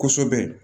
Kosɛbɛ